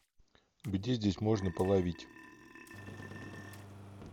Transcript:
где здесь можно половить